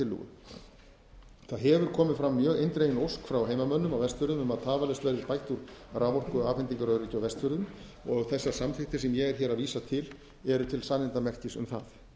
það hefur komið fram mjög eindregin ósk h frá heimamönnum á vestfjörðum um að tafarlaust verði bætt úr raforkuafhendingaröryggi á vestfjörðum þessar samþykktir sem ég er hér að vísa til eru til sannindamerkis um það